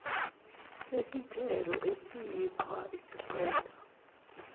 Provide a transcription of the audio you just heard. sesithelo esiyiqhwa isiqeda